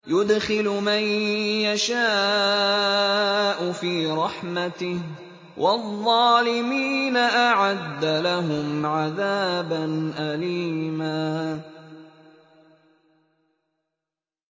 يُدْخِلُ مَن يَشَاءُ فِي رَحْمَتِهِ ۚ وَالظَّالِمِينَ أَعَدَّ لَهُمْ عَذَابًا أَلِيمًا